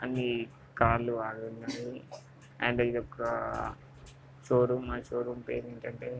ఇది కార్ లు అండ్ ఇదొక కార్ లు షోరూమ్ --